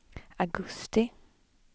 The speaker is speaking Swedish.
augusti